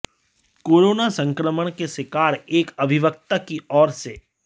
corona संक्रमण के शिकार एक अधिवक्ता की ओर से